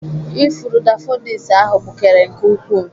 Ifuru daffodils ahụ gbukere nke ukwuu.